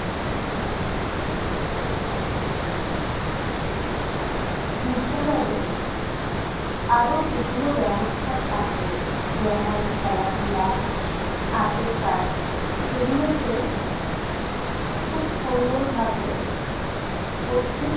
বিদ্যালয়ে আরও যেগুলো ব্যবস্থা থাকে যেমন- খেলাধুলা, হাতের কাজ সেগুলোকে খুব সুন্দরভাবে প্রত্যেক